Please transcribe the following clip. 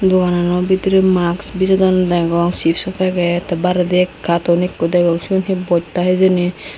doganano bidire masks bejodonne degong chipso paget te bairedi ek katun ekko degong siyot he bosta hijeni.